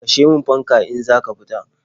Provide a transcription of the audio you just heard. Kashe min fanka in za ka fita.